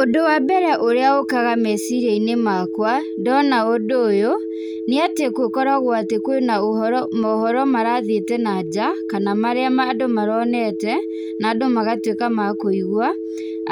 Ũndũ wa mbere ũrĩa ũkaga meciria-inĩ makwa, ndona ũndũ ũyũ, nĩ atĩ gũkoragwo atĩ kwĩ na ũhoro, mohoro marathiĩte na nja, kana marĩa mandũ maronete, na andũ magatuĩka ma kũigua,